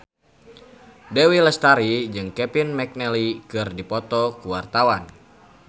Dewi Lestari jeung Kevin McNally keur dipoto ku wartawan